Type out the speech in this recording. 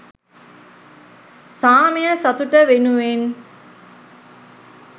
සාමය සතුට වෙනුවෙන්